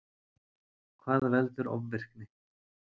Hvað veldur ofvirkni?